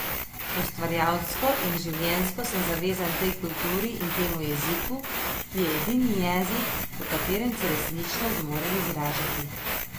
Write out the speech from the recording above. Ustvarjalsko in življenjsko sem zavezan tej kulturi in temu jeziku, ki je edini jezik, v katerem se resnično zmorem izražati.